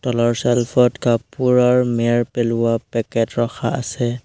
তলৰ ছেল্ফত কাপোৰ আৰু মেৰ পেলোৱা পেকেট ৰখা আছে।